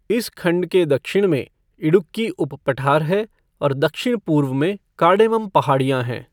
इस खंड के दक्षिण में इडुक्की उप पठार है और दक्षिण पूर्व में कार्डेमम पहाड़ियाँ हैं।